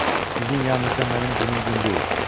Eh, sizin yanınızda mənim günüm gün deyil.